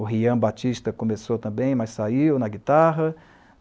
O Rian Batista começou também, mas saiu na guitarra.